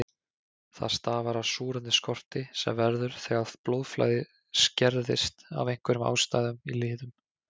Það stafar af súrefnisskorti sem verður þegar blóðflæði skerðist af einhverjum ástæðum í liðum.